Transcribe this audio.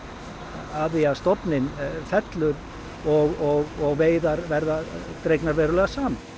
því að stofninn fellur og veiðar verða dregnar verulega saman